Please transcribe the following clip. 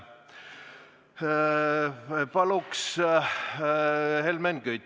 Palun, Helmen Kütt!